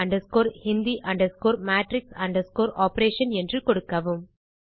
Scilab hindi matrix operation என்று கொடுக்கவும்